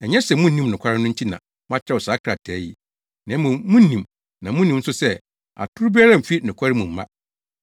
Ɛnyɛ sɛ munnim nokware no nti na makyerɛw saa krataa yi, na mmom munim na munim nso sɛ, atoro biara mfi nokware mu mma.